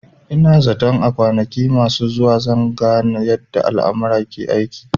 Ina zaton a kwanaki masu zuwa gaba zan gane yadda almara ke aiki